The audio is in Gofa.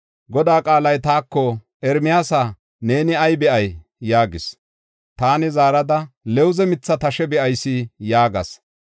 Godaa qaalay taako, “Ermiyaasa, neeni ay be7ay?” yaagis. Taani zaarada, “Lawuze mitha xam7a be7ayis” yaagas.